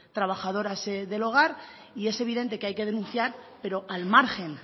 trabajadoras del hogar y es evidente que hay que denunciar pero al margen